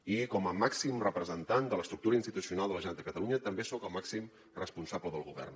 i com a màxim representant de l’estructura institucional de la generalitat de catalunya també soc el màxim responsable del govern